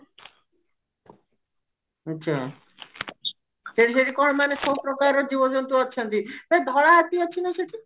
ଆଛା ସେଠି ସେଠି କଣ ମାନେ ସବୁ ପ୍ରକାର ର ଜୀବଜନ୍ତୁ ଅଛନ୍ତି ଏ ଧଳା ହାତୀ ଅଛନ୍ତି ନା ସେଠି